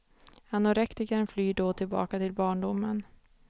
Anorektikern flyr då tillbaka till barndomen.